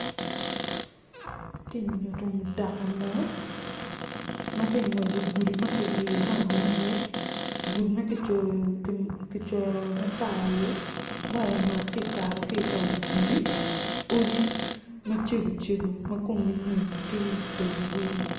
Ti nyuto mutoka mo matye ngwec i gudi makiliyo lam i ye gudi makicoyo matar i ye mac tye kato ki wi gudi odi macego cego ma komgi nyo tye i teng gudi.